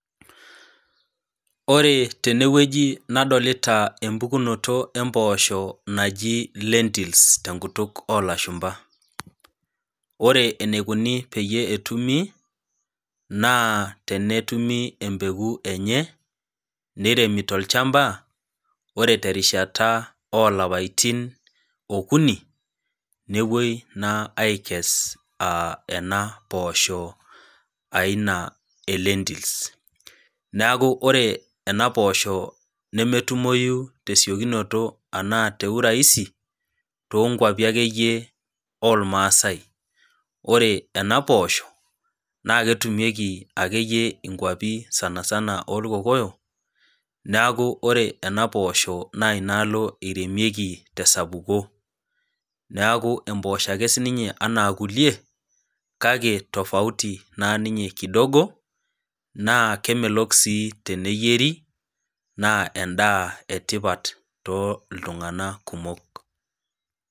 Ore tene wueji nadolita empukunoto empoosho naji Lentils te enkutuk oo ilashumba. Ore eneikuni peyie etumi, naa tenetumi empeko enye, neiremi tolchamba, ore te erishata oo ilapaitin okuni, nepuoi naa aikess ena poosho aina e lentils. Neaku ore ena poosho nemetumoyu te esiokinoto anaa te uraisi too nkwapi ake iye oolmaasai, ore ena poosho, naake etumieki ake iyie inkwapi sanisana oo ilkokoyo, neaku ore ena poosho naa inaalo eiremieki te esapuko, neaku empoosho ake iyie sii ninye ana kulie, kake tofauti naa ninye kidogo, naa kemelok sii teneiyeri, naa endaa e tipat too iltung'ana kumok.